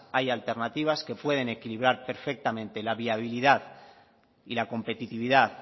hay alternativas que pueden equilibrar perfectamente la viabilidad y la competitividad